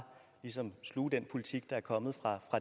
sluge den politik der er kommet fra